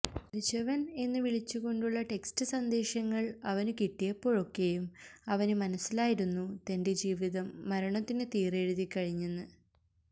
മരിച്ചവന് എന്ന് വിളിച്ചു കൊണ്ടുള്ള ടെക്സ്റ്റ് സന്ദേശങ്ങള് അവനു കിട്ടിയപ്പോഴൊക്കെയും അവനു മനസ്സിലായിരുന്നു തന്റെ ജീവിതം മരണത്തിനു തീറെഴുതി കഴിഞ്ഞെന്ന്